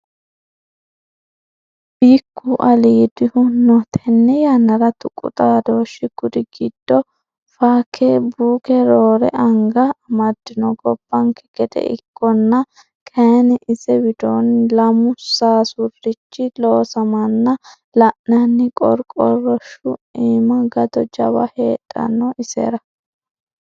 Bikku aliidihu no tene yannara tuqu xaadhoshi kuri giddo fakebuuke roore anga amadino gobbanke gede ikkonna kayinni ise widoonni lamu sasurichi loossamana la'nanni, qorqorshu iima gato jawa heedhano isera.